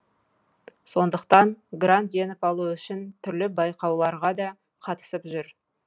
сондықтан грант жеңіп алу үшін түрлі байқауларға да қатысып жүр